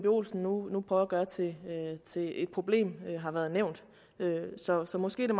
olsen nu prøver at gøre til et problem har været nævnt så så måske er